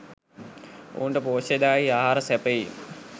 ඔවුන්ට පෝෂ්‍යදායී ආහාර සැපයීම